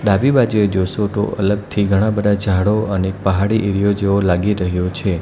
ડાબી બાજુએ જોશો તો અલગથી ઘણા બધા જાળો અને પહાડી એરીયો જેવો લાગી રહ્યો છે.